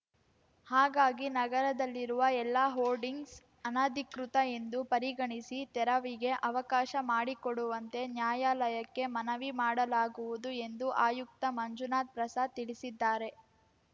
ಹಾಗಾಗಿ ನಗರದಲ್ಲಿರುವ ಎಲ್ಲ ಹೋರ್ಡಿಂಗ್ಸ್‌ ಅನಧಿಕೃತ ಎಂದು ಪರಿಗಣಿಸಿ ತೆರವಿಗೆ ಅವಕಾಶ ಮಾಡಿಕೊಡುವಂತೆ ನ್ಯಾಯಾಲಯಕ್ಕೆ ಮನವಿ ಮಾಡಲಾ ಗುವುದು ಎಂದು ಆಯುಕ್ತ ಮಂಜುನಾಥ್‌ ಪ್ರಸಾದ್‌ ತಿಳಿಸಿದ್ದಾರೆ